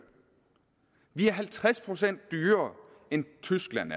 vi er halvtreds procent dyrere end tyskland